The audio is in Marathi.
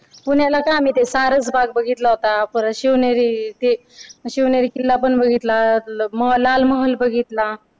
पुण्याला का आम्ही ते सारस बाग बघितला होता परत ते शिवनेरी ते शिवनेरी किल्ला पण बघितला लाल महाल बघितला.